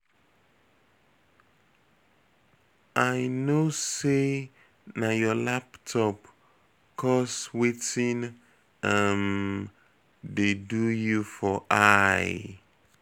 I no say na your laptop cause wetin um dey do you for eye.